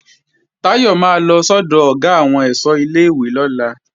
Táyọ̀ máa lọ sọ́dọ̀ Ọ̀gá àwọn ẹ̀ṣọ́ ilé-ìwé lọ́la